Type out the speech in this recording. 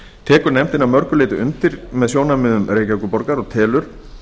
tekur nefndin að mörgu leyti undir með sjónarmiðum reykjavíkurborgar og telur